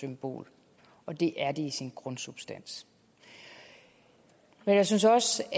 symbol og det er det i sin grundsubstans jeg synes også